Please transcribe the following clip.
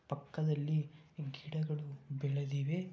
ಪಕ್ಕದಲ್ಲಿ ಗಿಡಗಳು ಬೆಳೆದಿವೆ --